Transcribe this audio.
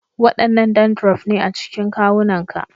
Wadannan dandrof ne a cikin kawunanka